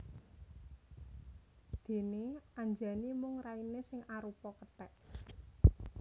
Déné Anjani mung rainé sing arupa kethèk